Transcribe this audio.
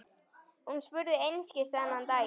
Hún spurði einskis þennan daginn.